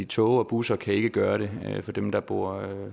tog og busser kan ikke gøre det for dem der bor